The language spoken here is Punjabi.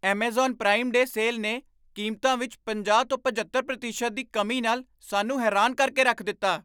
ਐੱਮਾਜ਼ਾਨ ਪ੍ਰਾਈਮ ਡੇਅ ਸੇਲ ਨੇ ਕੀਮਤਾਂ ਵਿੱਚ ਪੰਜਾਹ ਤੋਂ ਪਝੱਤਰ ਪ੍ਰਤੀਸ਼ਤ ਦੀ ਕਮੀ ਨਾਲ ਸਾਨੂੰ ਹੈਰਾਨ ਕਰ ਕੇ ਰੱਖ ਦਿੱਤਾ